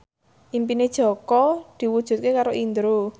impine Jaka diwujudke karo Indro